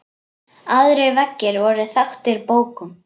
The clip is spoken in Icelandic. Aðrir veggir voru þaktir bókum.